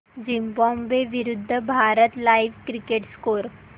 Zimbabwe विरूद्ध Bharat live cricket score